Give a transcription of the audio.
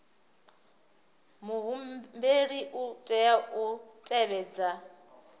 muhumbeli u tea u tevhedza